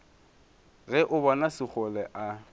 ge o bona sekgole a